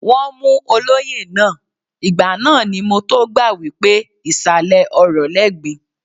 Wọ́n mú olóyè náà, ìgbà náà ni mọ tó gbà wípé ìsàlẹ̀ ọrọ̀ lẹ́gbin.